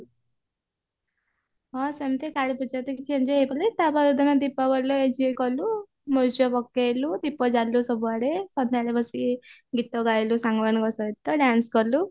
ହଁ ସେମତି କାଳୀ ପୂଜା ତ କିଛି enjoy ହେଇପାରିଲାନି ତାପରଦିନ ଦୀପ ବଳିରେ enjoy କଲୁ ମୁର୍ଜ ପକେଇଲୁ ଦୀପ ଜାଲିଲୁ ଦୀପ ଜାଲିଲୁ ସବୁଆଡେ ସନ୍ଧ୍ୟାରେ ବସିକି ଗୀତ ଗାଇଲୁ ସାଙ୍ଗ ମାନଙ୍କ ସହିତ dance କଲୁ